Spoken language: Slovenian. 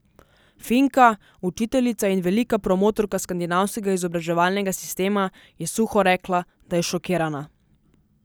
Finka, učiteljica in velika promotorka skandinavskega izobraževalnega sistema, je suho rekla, da je šokirana.